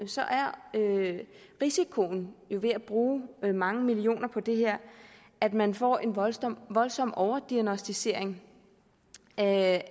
er risikoen ved at bruge mange millioner kroner på det her at man får en voldsom voldsom overdiagnosticering af